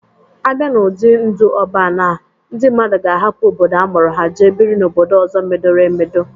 A bịa n'ụdị ndụ Ọban a, ndị mmadụ ga-ahapụ obodo a mụrụ ha, jee biri n'obodo ọzọ medoro emedo.